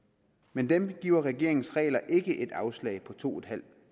men dem giver regeringens regler ikke et afslag på to